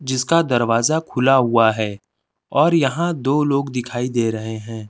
जिसका दरवाजा खुला हुआ है और यहाँ दो लोग दिखाई दे रहे हैं।